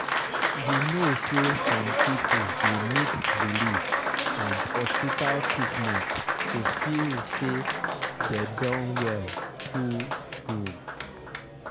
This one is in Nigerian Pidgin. you know some people dey mix belief and hospital treatment to feel say dem don well true true.